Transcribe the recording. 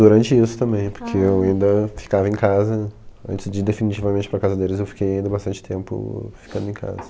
Durante isso também, porque eu ainda ficava em casa, antes de definitivamente ir para a casa deles, eu fiquei ainda bastante tempo ficando em casa.